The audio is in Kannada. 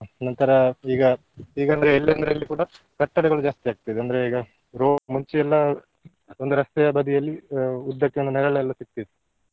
ನಂತರ ಈಗ ಈಗಂದ್ರೆ ಎಲ್ಲಂದ್ರಲ್ಲಿ ಕೂಡ ಕಟ್ಟಡಗಳು ಜಾಸ್ತಿಯಾಗ್ತದೆ ಅಂದ್ರೆ ಈಗ ro~ ಮುಂಚೆ ಎಲ್ಲ ಒಂದು ರಸ್ತೆಯ ಬದಿಯಲ್ಲಿ ಆ ಉದ್ದಕ್ಕೆ ನೆರಳೆಲ್ಲ ಸಿಗ್ತಿತ್ತು.